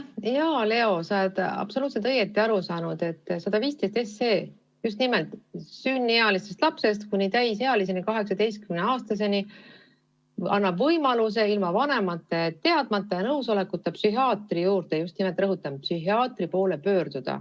Hea Leo, sa oled absoluutselt õigesti aru saanud, et eelnõu 115 annab lastele just nimelt sünnist kuni täisealiseks, 18-aastaseks saamiseni võimaluse ilma vanemate teadmata ja nõusolekuta psühhiaatri, rõhutan, psühhiaatri poole pöörduda.